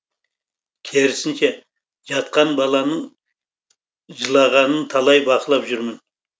керісінше жатқан баланың жылағанын талай бақылап жүрмін